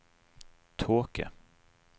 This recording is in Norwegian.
tåke